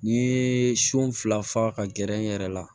N'i ye son fila fa ka gɛrɛ n yɛrɛ la